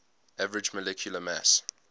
average molecular mass